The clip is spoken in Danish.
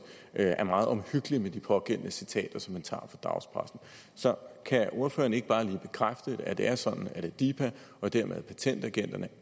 er meget omhyggelig med de pågældende citater som man tager fra dagspressen så kan ordføreren ikke bare lige bekræfte at det er sådan at adipa og dermed patentagenterne